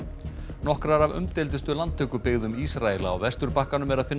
nokkrar af umdeildustu landtökubyggðum Ísraels á Vesturbakkanum er að finna